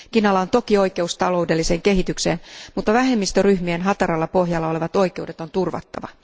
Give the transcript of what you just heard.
Kiinalla on toki oikeus taloudelliseen kehitykseen, mutta vähemmistöryhmien hataralla pohjalla olevat oikeudet on turvattava.